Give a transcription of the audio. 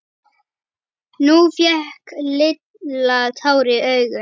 Nú fékk Lilla tár í augun.